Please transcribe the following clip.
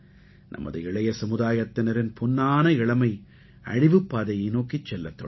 நமது இளைய சமுதாயத்தினரின் பொன்னான இளமை அழிவுப் பாதையை நோக்கிச் செல்லத் தொடங்கும்